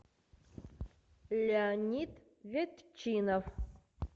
леонид ветчинов